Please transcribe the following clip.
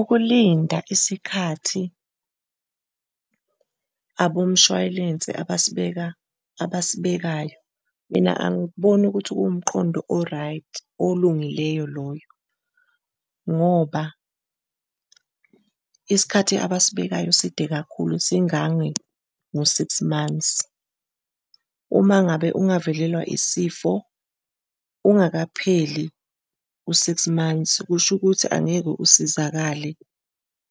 Ukulinda isikhathi abomshwalense abasibekayo, mina angikuboni ukuthi kuwumqondo o-right, olungileyo loyo ngoba isikhathi abasibekayo side kakhulu singange ngo-six months. Uma ngabe ungavelelwa isifo ungakapheli u-six months, kusho ukuthi angeke usizakale